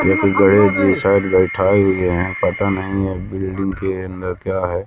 या फिर गड़े हुए साइड बैठायी हुई है पता नहीं ये बिल्डिंग के अंदर क्या है।